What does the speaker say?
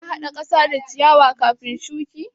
Kana haɗa ƙasa da ciyawa kafin shuki?